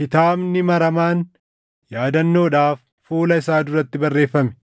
kitaabni maramaan yaadannoodhaaf fuula isaa duratti barreeffame.